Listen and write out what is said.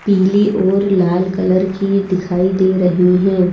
पीली और लाल कलर की दिखाई दे रही हैं।